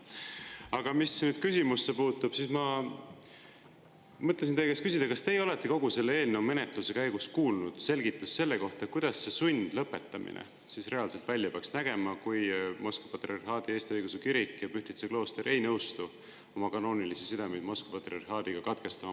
Aga mis küsimusse puutub, siis ma mõtlesin teie käest küsida, kas teie olete kogu selle eelnõu menetluse käigus kuulnud selgitust selle kohta, kuidas see sundlõpetamine reaalselt välja peaks nägema, kui Moskva Patriarhaadi Eesti Õigeusu Kirik ja Pühtitsa klooster ei nõustu oma kanoonilisi sidemeid Moskva patriarhaadiga katkestama.